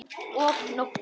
Og nóttum!